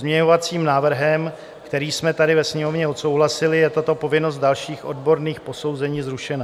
Pozměňovacím návrhem, který jsme tady ve Sněmovně odsouhlasili, je tato povinnost dalších odborných posouzení zrušena.